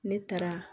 Ne taara